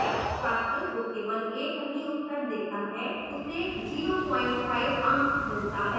छात्र जो केवल 1 सही उत्तर देता है उसे 05 अंक मिलता है